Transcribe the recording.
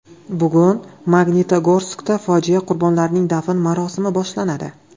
Bugun Magnitogorskda fojia qurbonlarning dafn marosimi boshlanadi.